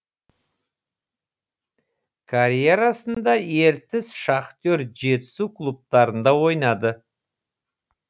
карьерасында ертіс шахтер жетісу клубтарында ойнады